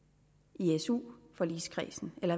i su forligskredsen eller